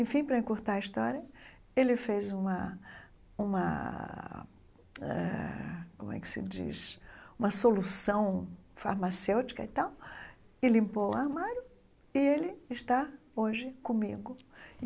Enfim, para encurtar a história, ele fez uma uma eh, como é que se diz, uma solução farmacêutica e tal, e limpou o armário, e ele está hoje comigo.